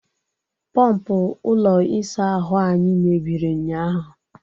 Pọọmpụ ụlọ isa ahụ anyị mebiri ụnyaahụ.